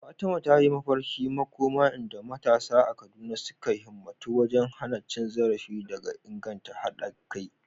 Fatima ta yi mafarkin makoma inda matasa a Kaduna suka himmatu wajen hana cin zarafi da inganta haɗa kai.